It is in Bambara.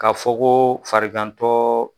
Ka fɔ ko farigan tɔ